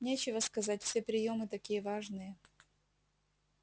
нечего сказать все приёмы такие важные